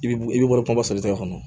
I bi i bi bɔ kuma bɔ sotigi kɔnɔ